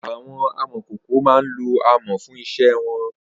Awọn àmọ̀kókó má n ló ámọ̀ fùn iṣẹ̀ wọn